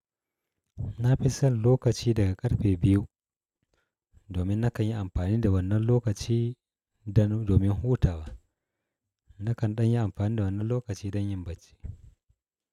Nafi son lokaci daga karfe 2. Domin na kanyi amfani da wannan lokaci dan domin hutawa. Nakan danyi amfanida wannan lokaci don yin bacci.